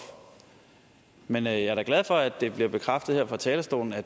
men jeg er da glad for at det bliver bekræftet her fra talerstolen at